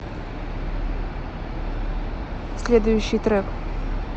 следующий трек